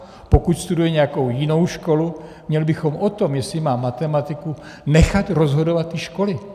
Pokud studuje nějakou jinou školu, měli bychom o tom, jestli má matematiku, nechat rozhodovat ty školy.